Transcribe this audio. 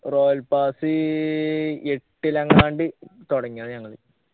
royal pass എട്ടിലെങ്ങാണ്ട് തുടങ്ങിയതാ ഞങ്ങള്